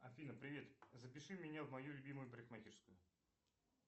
афина привет запиши меня в мою любимую парикмахерскую